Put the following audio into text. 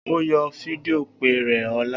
O yoo fidio pe rẹ ọla!